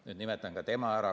Nüüd nimetan ka tema ära.